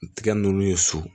Tigɛ nunnu ye so